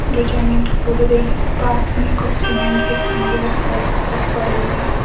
जो जमीन खोद रहे हैं पास में कुछ सीमेंट के खंबे और पाइप पड़े हुए --